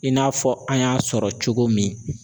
I n'a fɔ an y'a sɔrɔ cogo min